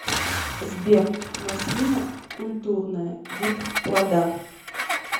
сбер маслина культурная вид плода